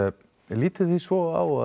lítið þið svo á